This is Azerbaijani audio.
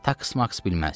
Taks-maks bilməzdi.